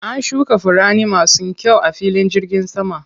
An shuka furanni masu kyau a filin jirgin saman.